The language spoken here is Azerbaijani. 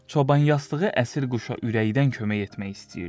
Çoban yastığı əsir quşa ürəkdən kömək etmək istəyirdi.